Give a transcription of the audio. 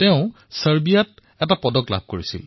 তেওঁ ছাৰ্বিয়ামতো পদক জয় কৰিছে